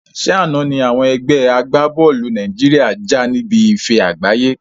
Ṣé àna ni àwọn ẹgbẹ́ agbá-bọ́ọ́lù Nàìjíríà já níbi ife àgbáyé